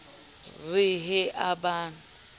re he a ba a